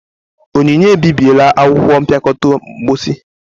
Onyinye ebibiela akwụkwọ mpịakọta mposi.